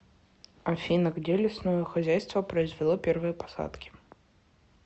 афина где лесное хозяйство произвело первые посадки